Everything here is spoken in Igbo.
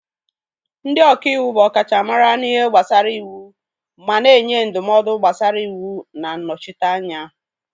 Ndị ọka iwu bụ ọkachamara n'ihe gbasara iwu ma na-enye ndụmọdụ gbasara iwu na nnọchite anya.